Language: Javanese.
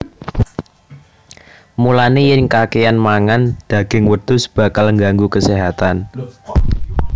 Mulané yèn kakèyan mangan daging wedhus bakal nganggu kaséhatan